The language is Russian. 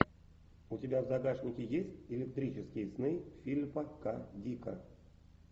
у тебя в загашнике есть электрические сны филипа к дика